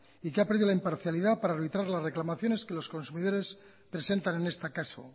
y que ha perdido la imparcialidad para arbitrar las reclamaciones que los consumidores presentan en este caso